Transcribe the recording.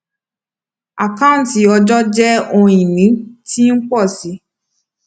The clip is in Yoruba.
àkáǹtí ọjọ jẹ ohun ìní tí ń pọ sí i